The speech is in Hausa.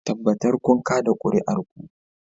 Tabbatar kun kada kuri'ar ku